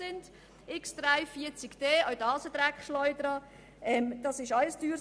Auch das ist eine Dreckschleuder, und seine Anschaffung ist ebenfalls teuer.